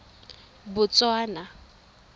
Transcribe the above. botswana